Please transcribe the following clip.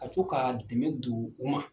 A co ka dɛmɛ don u ma.